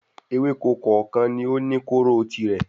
Ewéko kòòkan ni ó ní kóóró tirẹ̀